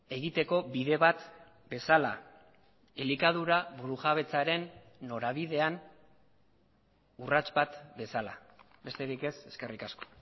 egiteko bide bat bezala elikadura burujabetzaren norabidean urrats bat bezala besterik ez eskerrik asko